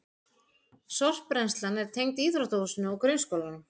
Sorpbrennslan er tengd íþróttahúsinu og grunnskólanum